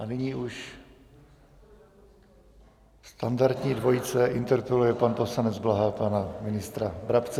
A nyní už standardní dvojice, interpeluje pan poslanec Blaha pana ministra Brabce.